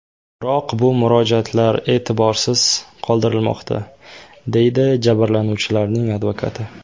Biroq bu murojaatlar e’tiborsiz qoldirilmoqda”, deydi jabrlanuvchilarning advokati.